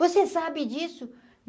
Você sabe disso?